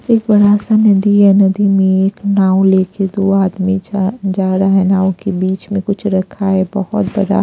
एक बड़ा सा नदी है नदी में एक नाव लेके दो आदमी जा आ रहा है नाव के बीच में कुछ रखा है बहुत बड़ा --